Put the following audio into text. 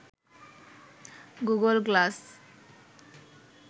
Google glass